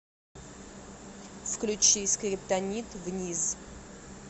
включи скриптонит вниз